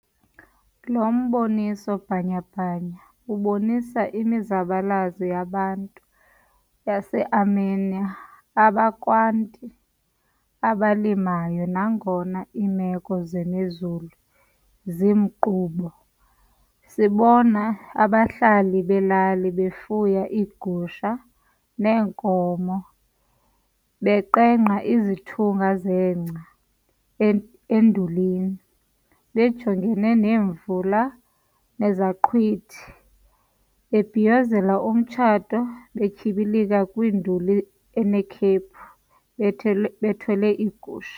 Lo mboniso bhanya-bhanya ubonisa imizabalazo yabantu base-Armenia abakwanti abalimayo nangona iimeko zemozulu zingumqobo. Sibona abahlali belali befuya iigusha neenkomo, beqengqa izithungu zengca endulini, bejongene nemvula nezaqhwithi, bebhiyozela umtshato, betyibilika kwinduli enekhephu bethelwe bethwele iigusha.